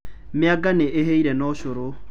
Mĩanga nĩ ĩhĩire na ũcũrũ.